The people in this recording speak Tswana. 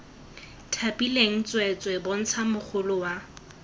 thapilweng tsweetswee bontsha mogolo wa